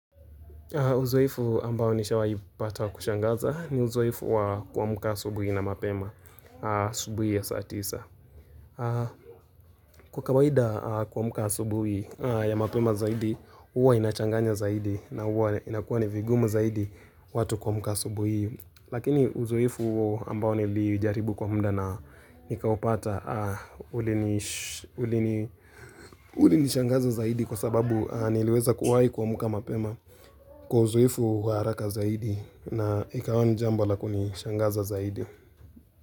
Uzoefu ambao nishawaipata wa kushangaza ni uzoefu wa kuamka asubuhi na mapema asubuhi ya saa tisa. Kwa kawaida kuamka asubuhi ya mapema zaidi, huwa inachanganya zaidi na huwa inakuwa ni vigumu zaidi watu kuamka asubuhi. Lakini uzoefu huo ambao nilijaribu kwa mda na nikaupata, ulinishangaza zaidi kwa sababu niliweza kuwai kuamka mapema. Kwa uzoefu wa haraka zaidi na ikawa ni jambo la kunishangaza zaidi.